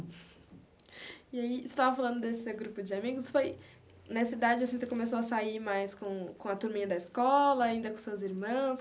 E aí, você estava falando desse seu grupo de amigos, foi... Nessa idade assim, você começou a sair mais com com a turminha da escola, ainda com seus irmãos?